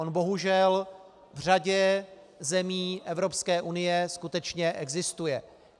On bohužel v řadě zemí Evropské unie skutečně existuje.